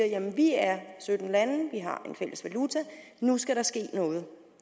jamen vi er sytten lande vi har en fælles valuta nu skal der ske noget